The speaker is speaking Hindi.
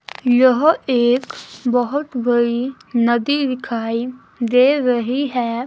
यह एक बहोत बड़ी नदी दिखाई दे रही है।